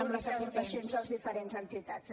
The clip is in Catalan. amb les aportacions de les diferents entitats